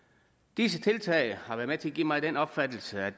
disse tiltag har været med til at give mig den opfattelse at